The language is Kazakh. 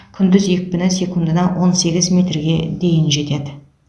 күндіз екпіні секундына он сегіз метрге дейін жетеді